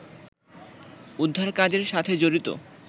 উদ্ধারকাজের সাথে জড়িত